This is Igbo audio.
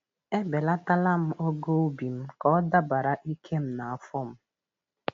E belataram ogo ubi m ka ọ dabara ike na afọ m.